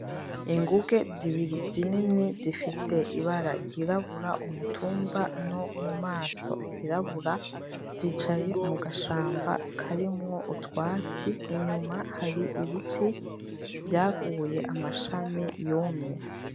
Ingunge zibiri zinini zifise ibara ryirabura, umutumba nomumaso hirabura zicaye mugashamba karimwo utwatsi, inyuma hari ibiti vyaguye amashami yumye.